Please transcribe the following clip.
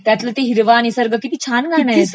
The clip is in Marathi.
त्यातील ते हिरवा निसर्ग किती छान गाणं आहे ते..